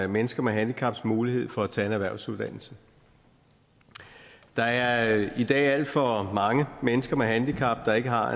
mennesker med handicaps mulighed for at tage en erhvervsuddannelse der er i dag alt for mange mennesker med handicap der ikke har